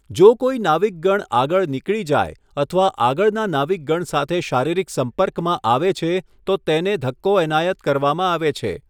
જો કોઇ નાવિકગણ આગળ નીકળી જાય અથવા આગળના નાવિકગણ સાથે શારીરિક સંપર્કમાં આવે છે તો તેને ધક્કો એનાયત કરવામાં આવે છે.